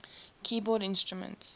keyboard instruments